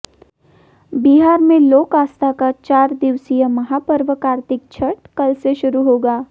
बिहार में लोक आस्था का चार दिवसीय महापर्व कार्तिक छठ कल से शुरू होगा